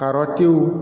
Karɔtiw